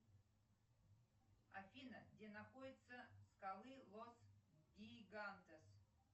афина где находятся скалы лос гигантес